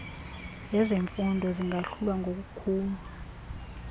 lezemfundo zingahlulwa ngokukhulu